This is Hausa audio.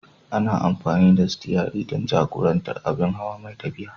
Ana amfani da sitiyari don jagorantar abin hawa mai tafiya.